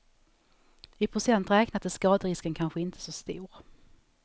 I procent räknat är skaderisken kanske inte så stor.